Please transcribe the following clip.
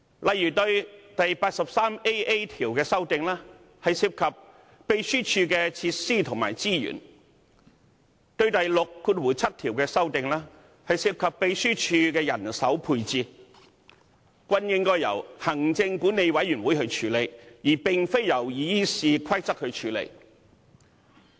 例如第 83AA 條的修訂涉及秘書處的設施及資源，第67條的修訂則涉及秘書處的人手配置，均應由行政管理委員會處理，而並非藉修訂《議事規則》處理。